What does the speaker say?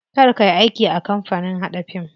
Kar kayi aiki a kamapanin haɗa fim.